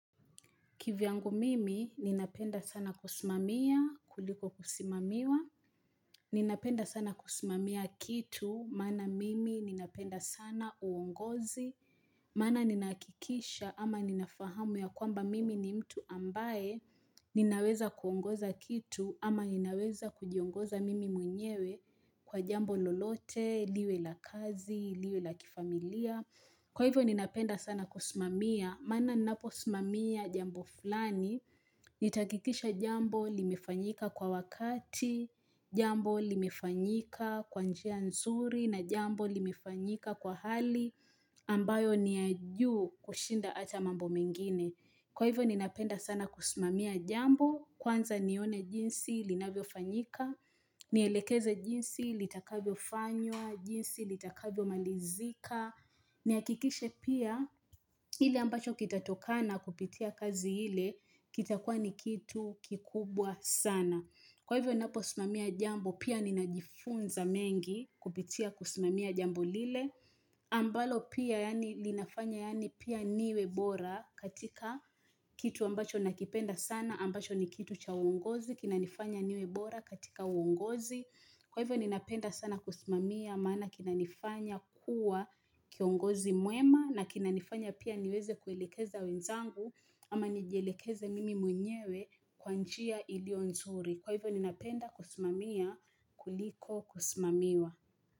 Kivyangu mimi, ninapenda sana kusimamia, kuliko kusimamiwa. Ninapenda sana kusimamia kitu, maana mimi ninapenda sana uongozi. Maana ninakikisha ama ninafahamu ya kwamba mimi ni mtu ambaye. Ninaweza kuongoza kitu ama ninaweza kujiongoza mimi mwnyewe kwa jambo lolote, liwe la kazi, liwe la kifamilia. Kwa hivyo ninapenda sana kusimamia, maana ninapo simamia jambo fulani, nitakikisha jambo limefanyika kwa wakati, jambo limefanyika kwanjia nzuri na jambo limefanyika kwa hali ambayo ni yajuu kushinda ata mambo mengine. Kwa hivyo ninapenda sana kusimamia jambo, kwanza nione jinsi, linavyo fanyika, nielekeze jinsi, litakavyo fanywa, jinsi, litakavyo malizika, niakikishe pia ili ambacho kitatoka na kupitia kazi hile, kitakua nikitu kikubwa sana. Kwa hivyo napo simamia jambo pia ninajifunza mengi kupitia kusimamia jambo lile. Ambalo pia yani linafanya yani pia niwebora katika kitu ambacho nakipenda sana ambacho ni kitu cha uongozi kina nifanya niwebora katika uongozi. Kwa hivyo ninapenda sana kusimamia maana kinanifanya kuwa kiongozi muema na kinanifanya pia niweze kuelekeza wenzangu ama nijelekeze mimi mwenyewe kwa njia ilio nzuri. Kwa hivyo ninapenda kusimamia kuliko kusimamiwa.